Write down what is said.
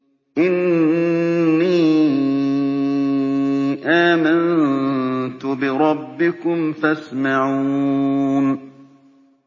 إِنِّي آمَنتُ بِرَبِّكُمْ فَاسْمَعُونِ